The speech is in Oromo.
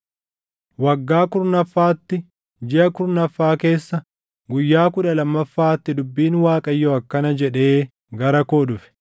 Waggaa kurnaffaatti, jiʼa kurnaffaa keessa, guyyaa kudha lammaffaatti dubbiin Waaqayyoo akkana jedhee gara koo dhufe: